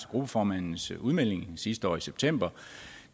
gruppeformandens udmeldinger sidste år i september